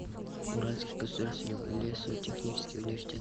уральский государственный лесотехнический университет